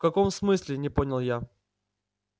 в каком смысле не понял я